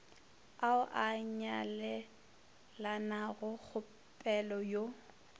ao a nyalelanago kgopela yo